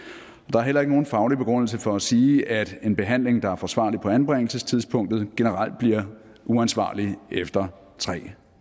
er heller ikke nogen faglig begrundelse for at sige at en behandling der er forsvarlig på anbringelsestidspunktet generelt bliver uansvarlig efter tre